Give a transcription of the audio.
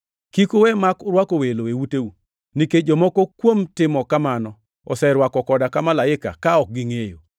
Kik uwe mak urwako welo e uteu, nikech jomoko kuom timo kamano oserwako koda ka malaike ka ok gingʼeyo.